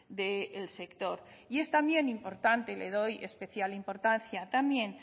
del sector y es también importante le doy especial importancia también